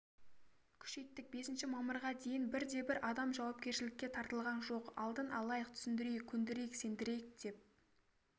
күшейттік бесінші мамырға дейін бірде-бір адам жауапкершілікке тартылған жоқ алдын алайық түсіндірейік көндірейік сендірейік деп